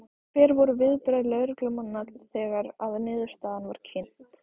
Hver voru viðbrögð lögreglumanna þegar að niðurstaðan var kynnt?